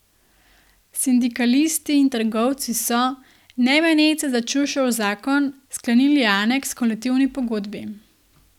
Sindikalisti in trgovci so, ne meneč se za Čušev zakon, sklenili aneks h kolektivni pogodbi.